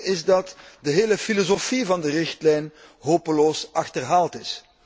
Het probleem is dat de hele filosofie van de richtlijn hopeloos achterhaald is.